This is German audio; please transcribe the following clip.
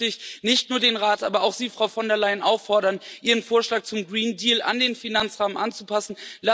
Deshalb möchte ich nicht nur den Rat, aber auch Sie, Frau von der Leyen auffordern, Ihren Vorschlag zum Green Deal an den Finanzrahmen anzupassen.